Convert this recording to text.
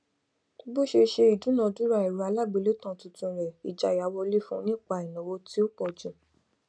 bó ṣe ṣe ìdúnadúrà ẹrọ alágbèélétan tuntun rẹ ìjáyà wọlé fún nípa ìnáwó tí ó pọjù